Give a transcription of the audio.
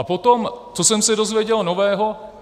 A potom, co jsem se dozvěděl nového.